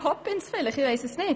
Vielleicht Mary Poppins.